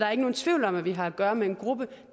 er ikke nogen tvivl om at vi har at gøre med en gruppe